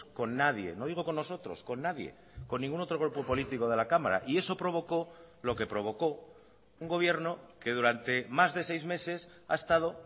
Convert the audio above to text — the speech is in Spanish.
con nadie no digo con nosotros con nadie con ningún otro grupo político de la cámara y eso provocó lo que provocó un gobierno que durante más de seis meses ha estado